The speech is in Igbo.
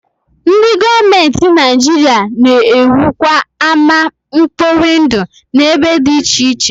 Ndị gọọmenti Naijiria na-ewukwa ama mkpori ndụ n'ebe dị iche iche